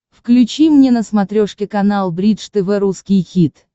включи мне на смотрешке канал бридж тв русский хит